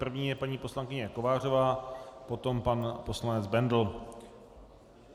První je paní poslankyně Kovářová, potom pan poslanec Bendl.